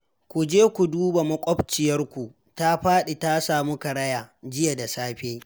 Ku je ku duba maƙwabciyarku ta faɗi ta samu karaya jiya da safe